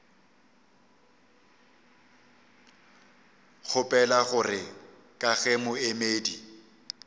kgopela gore ka ge moemedi